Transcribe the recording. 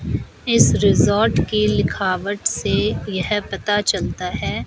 इस रिजॉर्ट की लिखावट से यह पता चलता है।